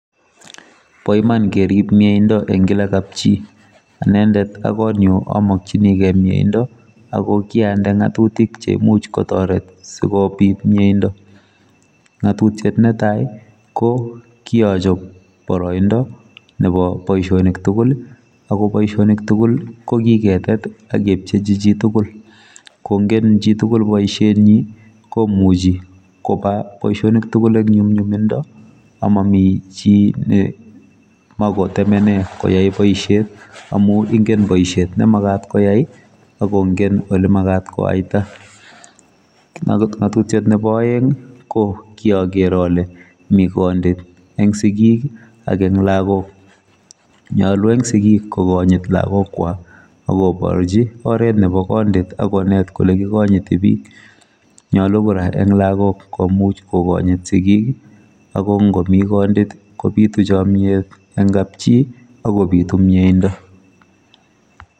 Boiman kerip mieindo eng kila kap chi anendet ak kotnyu amakchinigei mieindo akokiande ngatutik cheimuch kotoret sikobit mieindo ngatutiet netai kokiachop boroindo nebo boisionik tugul akoboisionik tugul kokiketet akepchechi chitugul kongen chitugul boisienyi komuchi kopa boisionik tugul eng nyumnyumindo amami chi nemakotemene koyai boisiet amu ngen boisiet nemagat koyai akongen olemagat koaita ngatutiet nebo aeng ko kiager ale mi kondit eng sikik ak eng lagoknyalu eng sigik kokanyit lakokwok akoborchi oret nebo kondit akonet kole kikonyiti bik nyolu kora eng lagok komuch kokonyit sikik akongomi kondit kobitu chomiet eng kapchi akubitu mieindo